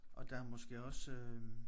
Og der er måske også øh